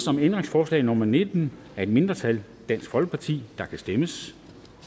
om ændringsforslag nummer nitten af et mindretal der kan stemmes